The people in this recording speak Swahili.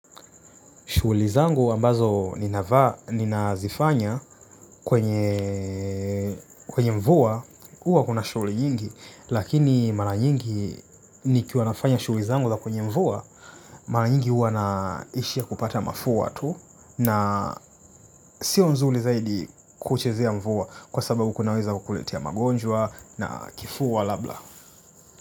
Shughuli zangu ambazo ninazifanya kwenye, kwenye mvua, huwa kuna shughuli nyingi, lakini mara nyingi nikiwa nafanya shughuli zangu za kwenye mvua, mara nyingi huwa naishia kupata mafua tu na, sio nzuli zaidi kuchezea mvua kwa sababu kunaweza kukuletea magonjwa na kifua labda.